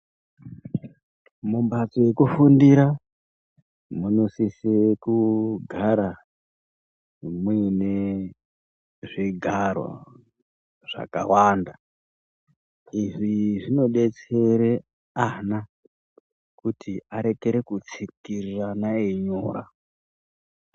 Mumbatso yekufundira munosise kunge mune zvigaro zvakawanda, izvi zvinodetsere ana kuti arekere kutsikirirana eyi nyora.